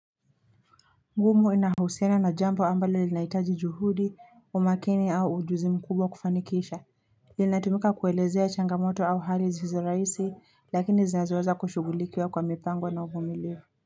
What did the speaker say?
Huwa inahusiana na jambo ambalo linahitaji juhudi, umakini au ujuzi mkubwa kufanikisha Linatumika kuelezea changamoto au hali zisizorahisi lakini zinazoweza kushughulikiwa kwa mipango na uvumilivu.